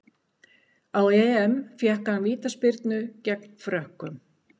Á EM fékk hann vítaspyrnu gegn Frökkum.